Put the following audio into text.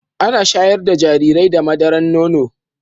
Ana shayar da jarirai da madaran nono